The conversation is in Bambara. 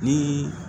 Ni